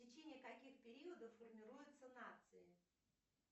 в течении каких периодов формируются нации